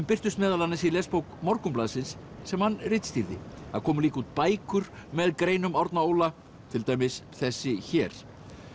birtust meðal annars í lesbók Morgunblaðsins sem hann ritstýrði það komu líka út bækur með greinum Árna Óla til dæmis þessi hér